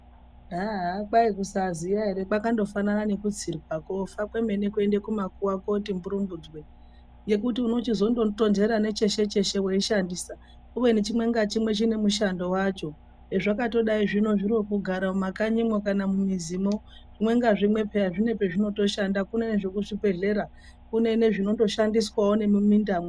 Haaha kwai kusaziya ere kwakangofanana ngekutsiirwa kofa kwemene kuenda kumakuwa koti mburumbudzwe, ngekuti unozochitonhera necheshe cheshe weishandisa kubeni chimwe ngachimwe chine mushandiro wacho. Zvakatodai zvino kugara mumakanyimwo kana mumizimwo zvimwe ngazvimwe peya zvine pazvinotoshanda kune zvekubhedhlera kune zvinondoshandiswawo nemimindamwo.